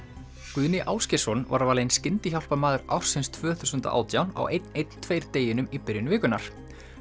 Guðni Ásgeirsson var valinn skyndihjálparmaður ársins tvö þúsund og átján á einn einn tveir deginum í byrjun vikunnar